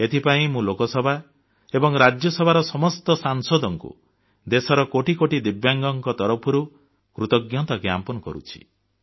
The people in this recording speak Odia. ଏଥିପାଇଁ ମୁଁ ଲୋକସଭା ଏବଂ ରାଜ୍ୟସଭାର ସମସ୍ତ ସାଂସଦଙ୍କୁ ଦେଶର କୋଟି କୋଟି ଦିବ୍ୟାଙ୍ଗଙ୍କ ତରଫରୁ କୃତଜ୍ଞତା ଜ୍ଞାପନ କରୁଛି